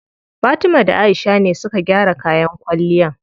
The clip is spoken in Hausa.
Fatima da Aisha ne suka gyara kayan kwalliyan.